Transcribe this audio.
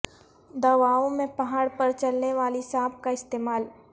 دواوں میں پہاڑ پر چلنے والی سانپ کا استعمال